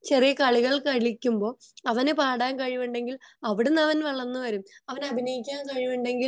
ചെറിയ കളികൾ കളിക്കുമ്പോൾ അവനു പാടാൻ കഴിവിണ്ടെങ്കിൽ അവിടെ നിന്നാണ് വളർന്നു വരുന്ന അത്പോലെ അഭിനയിക്കാൻ കഴിവുണ്ടെങ്കിൽ